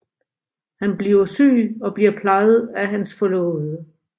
Han bliver syg og bliver plejet af hans forlovede